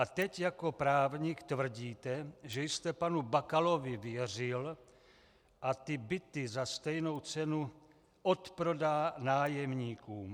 A teď jako právník tvrdíte, že jste panu Bakalovi věřil, že ty byty za stejnou cenu odprodá nájemníkům.